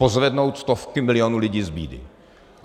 Pozvednout stovky milionů lidí z bídy.